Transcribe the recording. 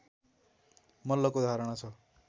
मल्लको धारणा छ